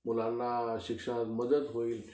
मुलांना शिक्षणात मदत होईल.